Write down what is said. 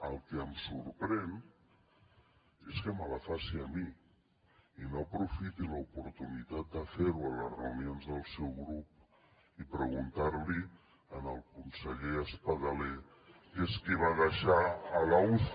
el que em sorprèn és que me la faci a mi i no aprofiti l’oportunitat de fer ho a les reunions del seu grup i preguntar l’hi al conseller espadaler que és qui va deixar a la uci